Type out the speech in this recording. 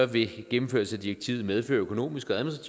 vil gennemførelse af direktivet medføre økonomiske og